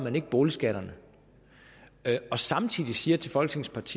boligskatterne og samtidig siger til folketingets